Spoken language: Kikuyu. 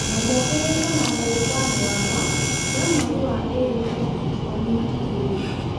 tharia kĩrĩko na ndagĩtarĩ wakwa kĩa mweri wa ĩrĩ tarĩki ikũmi na igĩrĩ